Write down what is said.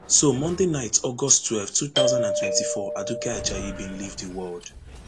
on monday night august twelve two thousand and twenty-four aduke ajayi bin leave di world